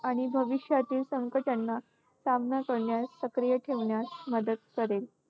आणि भविष्यातील संकटांना सामना करण्यास, सक्रिय ठेवण्यास मदत करेल.